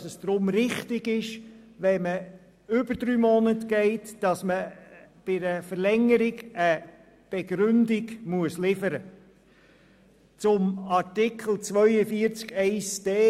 Deshalb ist es richtig, wenn bei einer Verlängerung nach den ersten drei Monaten eine Begründung geliefert werden muss.